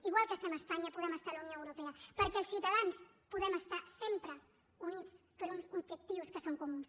igual que estem a espanya podem estar a la unió europea perquè els ciutadans podem estar sempre units per uns objectius que són comuns